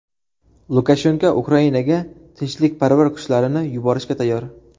Lukashenko Ukrainaga tinchlikparvar kuchlarini yuborishga tayyor.